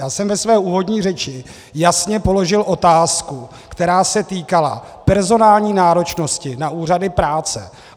Já jsem ve své úvodní řeči jasně položil otázku, která se týkala personální náročnosti na úřady práce.